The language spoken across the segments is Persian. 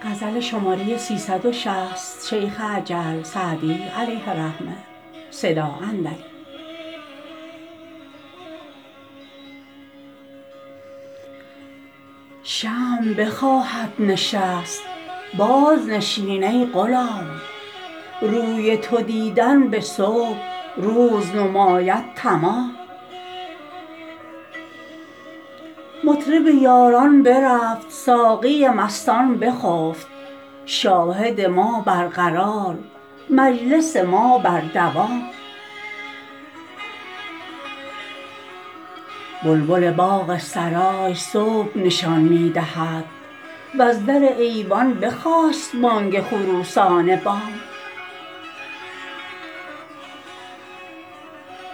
شمع بخواهد نشست بازنشین ای غلام روی تو دیدن به صبح روز نماید تمام مطرب یاران برفت ساقی مستان بخفت شاهد ما برقرار مجلس ما بر دوام بلبل باغ سرای صبح نشان می دهد وز در ایوان بخاست بانگ خروسان بام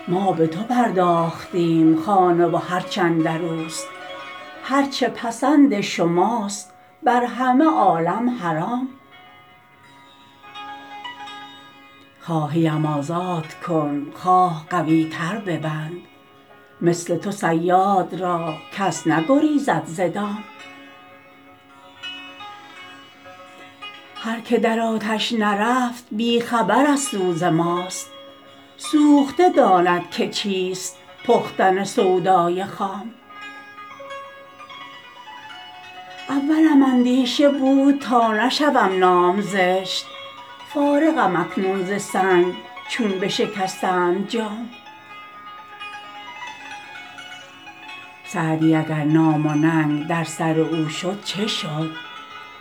ما به تو پرداختیم خانه و هرچ اندر اوست هر چه پسند شماست بر همه عالم حرام خواهی ام آزاد کن خواه قوی تر ببند مثل تو صیاد را کس نگریزد ز دام هر که در آتش نرفت بی خبر از سوز ماست سوخته داند که چیست پختن سودای خام اولم اندیشه بود تا نشود نام زشت فارغم اکنون ز سنگ چون بشکستند جام سعدی اگر نام و ننگ در سر او شد چه شد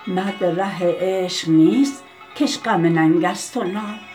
مرد ره عشق نیست که اش غم ننگ است و نام